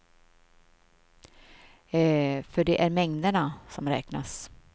För det är mängderna som räknas.